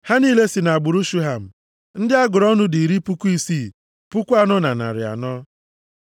Ha niile si nʼagbụrụ Shuham. Ndị a gụrụ ọnụ dị iri puku isii, puku anọ na narị anọ (64,400).